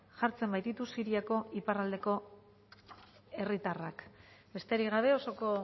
jartzen baititu siriako iparraldeko herritarrak besterik gabe osoko